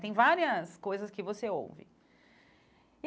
Tem várias coisas que você ouve.